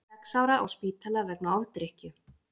Sex ára á spítala vegna ofdrykkju